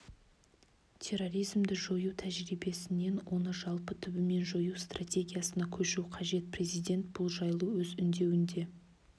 терроризмді жою тәжірибесінен оны жалпы түбімен жою стратегиясына көшу қажет президент бұл жайлы өз үндеуінде